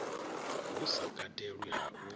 hu sa katelwi ha u